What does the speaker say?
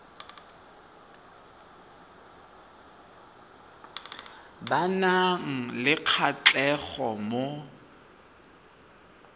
ba nang le kgatlhego mo